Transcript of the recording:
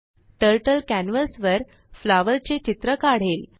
Turtleकॅनवासवरflowerचे चित्र काढेल